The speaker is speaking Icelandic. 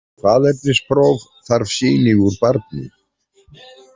Fyrir faðernispróf þarf sýni úr barni.